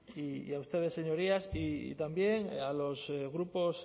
y a ustedes señorías y también a los grupos